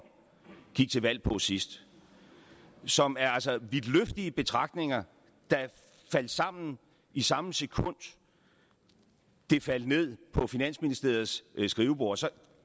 gik til valg på sidst som altså er vidtløftige betragtninger der faldt sammen i samme sekund de faldt ned på finansministeriets skriveborde så